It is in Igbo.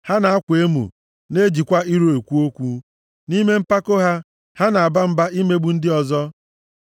Ha na-akwa emo, na-ejikwa iro ekwu okwu; nʼime mpako ha, ha na-aba mba imegbu ndị ọzọ.